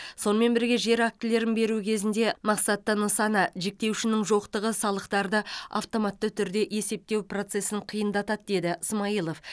сонымен бірге жер актілерін беру кезінде мақсатты нысана жіктеуішінің жоқтығы салықтарды автоматты түрде есептеу процесін қиындатады деді смайылов